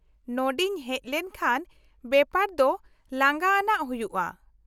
-ᱱᱚᱰᱮᱧ ᱦᱮᱪ ᱞᱮᱱᱠᱷᱟᱱ ᱵᱮᱯᱟᱨ ᱫᱚ ᱞᱟᱸᱜᱟ ᱟᱱᱟᱜ ᱦᱩᱭᱩᱜᱼᱟ ᱾